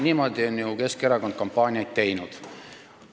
Niimoodi on ju Keskerakond kampaaniaid teinud.